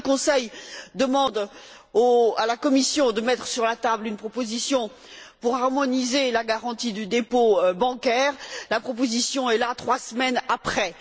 Lorsque le Conseil demande à la Commission de mettre sur la table une proposition pour harmoniser la garantie du dépôt bancaire, la proposition est là trois semaines après.